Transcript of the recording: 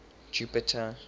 jupiter